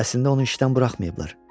Əslində onu işdən buraxmayıblar.